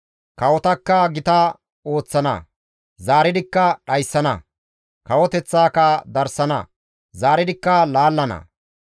Kawotakka gitasana; zaaridikka dhayssana; kawoteththaaka darsana; zaaridikka laallana.